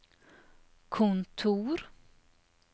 kontor